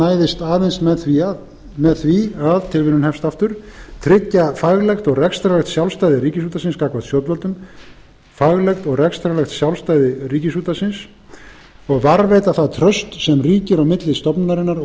að slík sátt næðist aðeins með því að tryggja faglegt og rekstrarlegt sjálfstæði ríkisútvarpsins gagnvart stjórnvöldum og varðveita það traust sem ríkir á milli stofnunarinnar